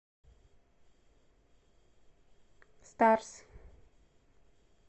старс